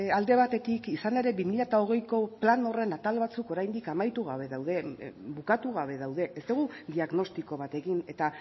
alde batetik izan ere bi mila hogeiko plan horren atal batzuk oraindik amaitu gabe daude bukatu gabe daude ez dugu diagnostiko batekin eta